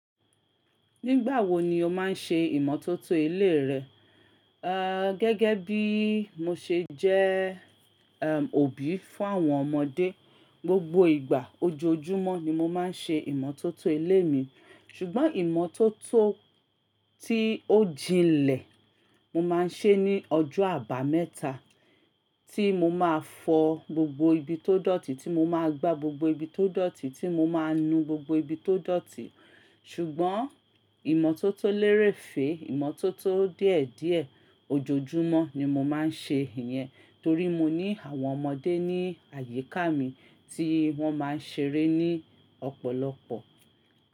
Nígbà wo ni o máa ń ṣe ìmọ́tótó ilé rẹ? Ee gẹ́gẹ́ bí mo ṣe jẹ́ eh òbí fún àwọn ọmọdé, gbogbo ìgbà ojoojúmọ́ ni mo máa ń ṣe ìmọ́tótó ilé mi. Ṣùgbọ́n ìmọ́tótó tí ó jinlẹ̀, mo máa ń ṣe é ní ọjọ́ àbámẹ́ta, tí mo máa fọ gbogbo ibi tó dọ̀tí, tí mo máa gbá gbogbo ibi tó dọ̀tí, tí mo máa nu gbogbo ibi tó dọ̀tí. Ṣùgbọ́n ìmọ́tótó lérèfé, ìmọ́tótó díẹ̀díẹ̀ ojoojúmọ́ ni mo máa ń ṣe ìyẹn torí mo ní àwọn ọmọdé ní àyíká mi tí wọ́n máa ń ṣeré ní ọ̀pọ̀lọpọ̀